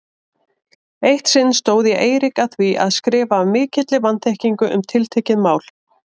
Eitt sinn stóð ég Eirík að því að skrifa af mikilli vanþekkingu um tiltekið mál.